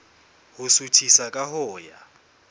ho suthisa ka ho ya